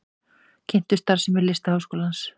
Kynntu starfsemi Listaháskólans